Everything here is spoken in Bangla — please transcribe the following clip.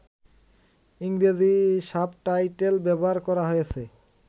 ইংরেজি সাবটাইটেল ব্যবহার করা হয়েছে